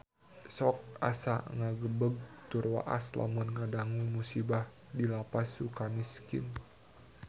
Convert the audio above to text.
Sok asa ngagebeg tur waas lamun ngadangu musibah di Lapas Sukamiskin